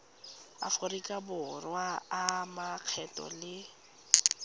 aforika borwa a makgetho le